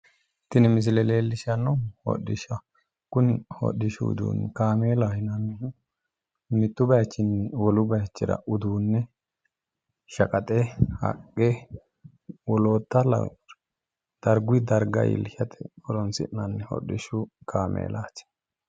tini misile leellishanohu hodhishashaho kuni hodhishshu udduni kaameela yinanihu mitu bayichinni wolu bayichira uddune , shaaqaxe , haqqe wollota nno dargu darga illishate horoonsinnani hodhishshu kaameelati